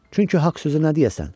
Çünki haqq sözü nə deyəsən?